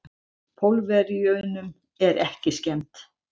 Pólverjunum er ekki skemmt.